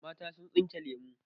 Mata sun tsinke lemu.